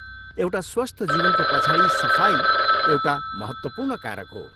एउटा स्वस्थ जीवनको पछाडि सफाइ एउटा महत्त्वपूर्ण कारक हो।